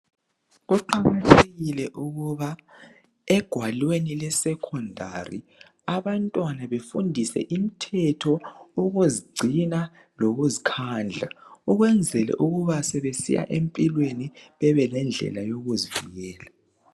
kuqakathekile ukuba egwalweni lwesecondary abantwana befundiswe imthetho ukuzigcina lokuzikhandla ukwenzela ukuba sebesiya empilweni bebelendlela yokuzivikela